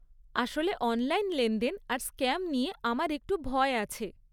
আসলে অনলাইন লেনদেন আর স্ক্যাম নিয়ে আমার একটু ভয় আছে।